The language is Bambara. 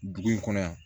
Dugu in kɔnɔ yan